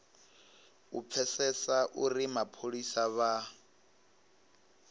u pfesesa uri mapholisa vha